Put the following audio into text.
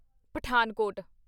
Pathankot